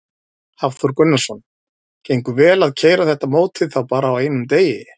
Hafþór Gunnarsson: Gengur vel að keyra þetta mótið þá bara á einum degi?